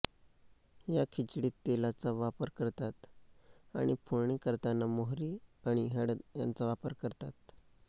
या खिचडीत तेलाचा वापर करतात आणि फोडणी करताना मोहरी आणि हळद यांचा वापर करतात